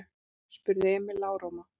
spurði Emil lágróma.